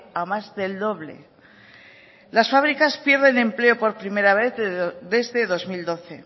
a más del doble las fábricas pierden empleo por primera vez desde dos mil doce